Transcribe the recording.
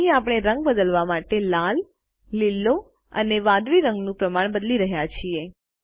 અહીં આપણે રંગ બદલવા માટે લાલ લીલો અને વાદળી રંગનું પ્રમાણ બદલી રહ્યા છીએ